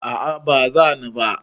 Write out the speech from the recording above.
a a ba zani ba